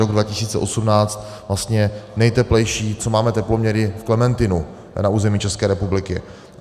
Rok 2018 vlastně nejteplejší, co máme teploměry v Klementinu na území České republiky.